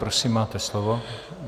Prosím, máte slovo.